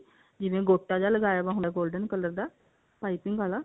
ਜਿਵੇਂ ਗੋਟਾ ਜਾ ਲਗਾਇਆ ਵਾ ਹੁੰਦਾ golden color ਦਾ ਪਾਈਪਿੰਨ ਆਲਾ